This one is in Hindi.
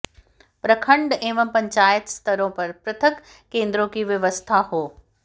प्रखंड एवं पंचायत स्तरों पर पृथक केंद्रों की व्यवस्था हो